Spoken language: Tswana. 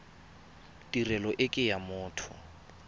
tirelo e ke ya motho